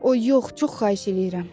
O yox, çox xahiş edirəm.